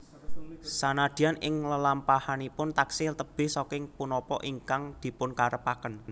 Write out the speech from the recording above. Sanadyan ing lelampahanipun taksih tebih saking punapa ingkang dipunkarepaken